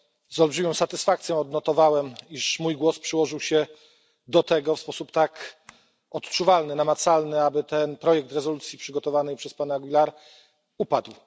Z olbrzymią satysfakcją odnotowałem, iż mój głos przyłożył się do tego w sposób tak odczuwalny, namacalny, aby ten projekt rezolucji przygotowanej przez pana Aguilara upadł.